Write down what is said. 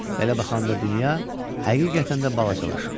Belə baxanda dünya həqiqətən də balacalaşıb.